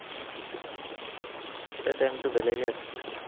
তেতিয়া time টো বেলেগে আছিল ন